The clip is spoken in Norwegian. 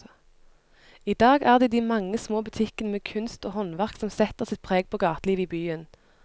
I dag er det de mange små butikkene med kunst og håndverk som setter sitt preg på gatelivet i byen.